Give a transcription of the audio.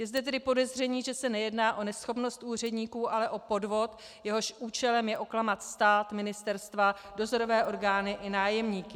Je zde tedy podezření, že se nejedná o neschopnost úředníků, ale o podvod, jehož účelem je oklamat stát, ministerstva, dozorové orgány i nájemníky.